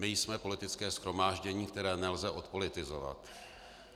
My jsme politické shromáždění, které nelze odpolitizovat.